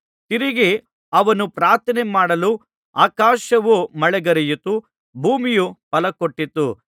ತಿರುಗಿ ಅವನು ಪ್ರಾರ್ಥನೆ ಮಾಡಲು ಆಕಾಶವು ಮಳೆಗರೆಯಿತು ಭೂಮಿಯು ಫಲಕೊಟ್ಟಿತು